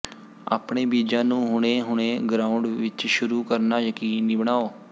ਆਪਣੇ ਬੀਜਾਂ ਨੂੰ ਹੁਣੇ ਹੁਣੇ ਗਰਾਉਂਡ ਵਿੱਚ ਸ਼ੁਰੂ ਕਰਨਾ ਯਕੀਨੀ ਬਣਾਓ